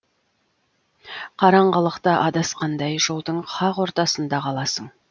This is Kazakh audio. қараңғылықта адасқандай жолдың қақ ортасында қаласың